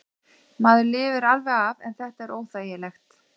Maður lifir alveg af en þetta er óþægilegt.